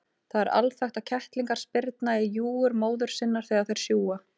Það er alþekkt að kettlingar spyrna í júgur móður sinnar þegar þeir sjúga.